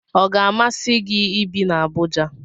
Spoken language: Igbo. Ọ ga-amasi gị ibi na Abuja?